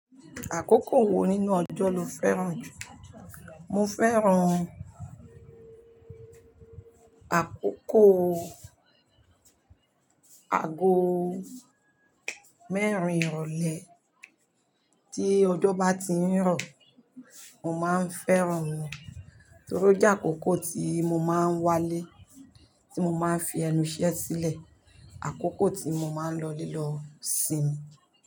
Àkókò wo nínú ọjọ́ lo fẹ́ràn jù? Mo fẹ́ràn àkókò aago mẹ́rin ìrọ̀lẹ́. Tí ọjọ́ bá ti ń rọ̀, mo máa ń fẹ́ràn torí oje akókó tí mo máa ń wálé tí mo máa ń fi ẹnu iṣẹ́ sílẹ̀, àkókò tí mo máa ń lọ ile lo sínmi.